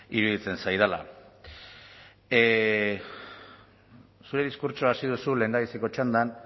iruditzen zaidala zure diskurtsoa hasi duzu lehendabiziko txandan